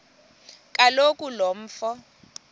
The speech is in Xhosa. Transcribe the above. kaloku lo mfo